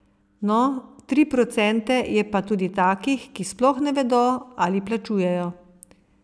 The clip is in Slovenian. No, tri procente je pa tudi takih, ki sploh ne vedo, ali plačujejo...